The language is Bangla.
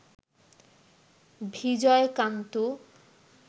ভিজয় কানত্